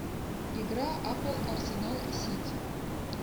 игра апл арсенал и сити